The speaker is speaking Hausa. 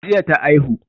Jiya ta aihu